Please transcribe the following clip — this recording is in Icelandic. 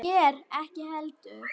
Mér ekki heldur.